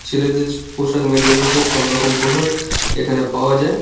ছেলেদের পোশাক মেয়েদের পোশাক সবরকম পোশাক এখানে পাওয়া যায়।